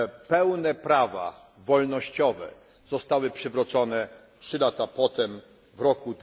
Pełne prawa wolnościowe zostały przywrócone trzy lata potem,